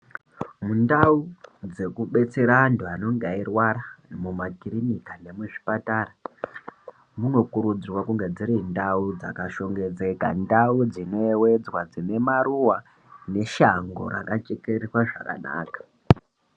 Mundau dzekubetsera antu anonga eirwara, mumakirinika nemuzvipatara, munokurudzirwa kunge dziri ndau dzakashongedzeka, ndau dzinoyevedzwa, dzine maruwa, neshango rakachekererwa zvakanaka.